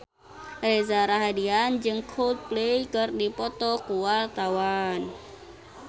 Reza Rahardian jeung Coldplay keur dipoto ku wartawan